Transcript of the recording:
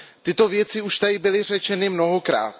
Tyto věci už tady byly řečeny mnohokrát.